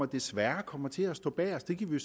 desværre kommer til at stå bagest det kan vi